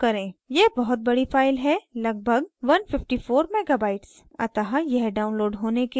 यह बहुत बड़ी file है लगभग 154 mega bytes अतः यह download होने के लिए कुछ समय लेगी